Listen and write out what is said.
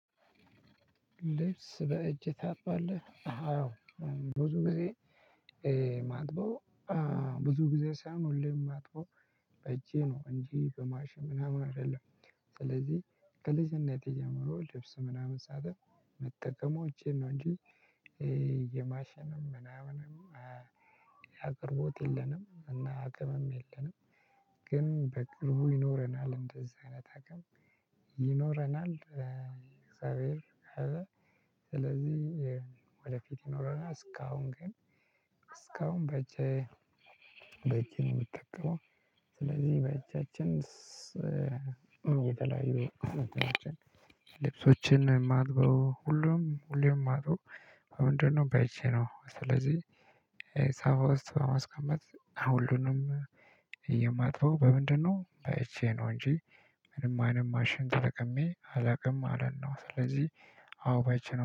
ልብስ በእጅ ታጥባለህ አዎ ብዙ ጊዜ ማጥበው ብዙ ጊዜ ሳይሆን ሁሌም ማጥበው በእጄ ነው እንጄ በማሽን ምናምን አይደለም። ስለዚህ ከልጅነቴ ጀምሮ ልብስ ምናምን ሳጥብ ምጠቀመው እጄን ነው እንጂ የማሸነም ምናምንም አቅርቦት የለንም እና አቅምም የለንም። ግን በቅርቡ ይኖረናል እንደዚህ አይነት አቅም ይኖረናል። እግዚአብሔር ካለ ስለዚህ ወደፊት ይኖረናል። እስካሁን ግን እስካሁን በእጄ በእጄ ነው የምጠቀመው። ስለዚህ በእጃችን የተለያዩ እንትኖችን ልብሶችን የማጥበው ሁሉም ሁሌም ማጥበው በምንድነው? በእጄ ነው ስለዚህ። ሳፋ ውስጥ በማስቀመጥ ሁሉንም የማጥበው በምንድነው? በእጄ ነው እንጂ ምንም አይነት ማሽን ተጠቅሜ አላውቅም ማለት ነው። ስለዚህ አዎ በእጄ ነው